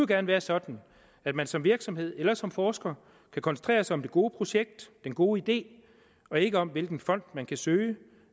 gerne være sådan at man som virksomhed eller som forsker kan koncentrere sig om det gode projekt den gode idé og ikke om hvilken fond man kan søge